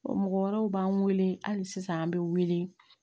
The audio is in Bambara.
Mɔgɔ wɛrɛw b'an wele hali sisan an bɛ wele